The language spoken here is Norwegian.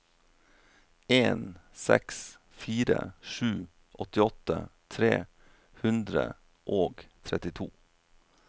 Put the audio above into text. en seks fire sju åttiåtte tre hundre og trettito